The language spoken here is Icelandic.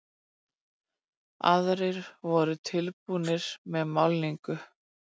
Aðrir voru tilbúnir með málningu.